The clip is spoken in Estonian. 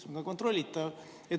See on kontrollitav.